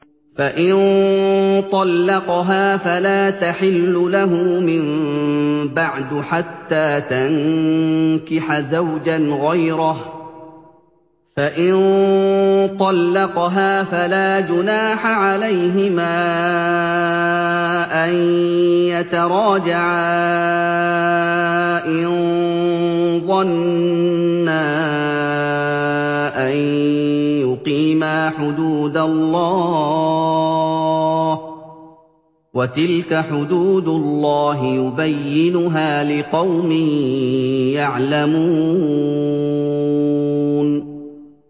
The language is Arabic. فَإِن طَلَّقَهَا فَلَا تَحِلُّ لَهُ مِن بَعْدُ حَتَّىٰ تَنكِحَ زَوْجًا غَيْرَهُ ۗ فَإِن طَلَّقَهَا فَلَا جُنَاحَ عَلَيْهِمَا أَن يَتَرَاجَعَا إِن ظَنَّا أَن يُقِيمَا حُدُودَ اللَّهِ ۗ وَتِلْكَ حُدُودُ اللَّهِ يُبَيِّنُهَا لِقَوْمٍ يَعْلَمُونَ